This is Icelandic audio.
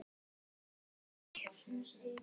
Okkur þykir vænt um þig.